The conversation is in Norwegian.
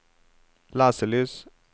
leselys